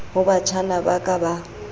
ho batjhana ba ka ba